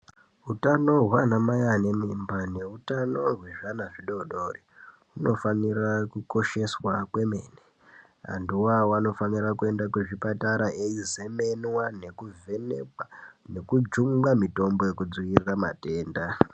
Utano hwana mai ane mimba neutano hwezvana adodori hunofanira kukosheswa kwemene anthuo anofanira kuende kuzvipatara eizemenwa nekuvhenekwa nekujungwa mitombo yekudzivirira matenda.